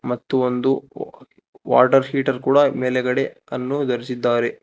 ಮತ್ತು ಒಂದು ವ ವಾಟರ್ ಹೀಟರ್ ಮೇಲುಗಡೆ ಅನ್ನು ಧರಿಸಿದರೆ.